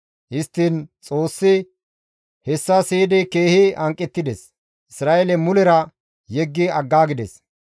Histtiin Xoossi hessa siyidi keehi hanqettides; Isra7eele mulera yeggi aggaagides.